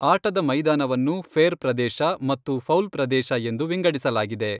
ಆಟದ ಮೈದಾನವನ್ನು 'ಫೇರ್ ಪ್ರದೇಶ' ಮತ್ತು 'ಫೌಲ್ ಪ್ರದೇಶ' ಎಂದು ವಿಂಗಡಿಸಲಾಗಿದೆ.